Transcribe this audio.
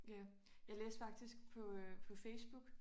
Ja jeg læste faktisk på øh på Facebook